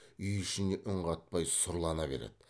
үй ішіне үн қатпай сұрлана береді